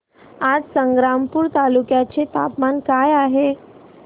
आज संग्रामपूर तालुक्या चे तापमान काय आहे